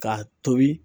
K'a tobi